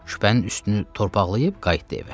Küpənin üstünü torpaqlayıb qayıtdı evə.